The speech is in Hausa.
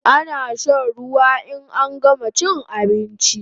Ana shan ruwa in an gama chin abinchi